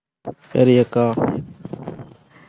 சரி அக்கா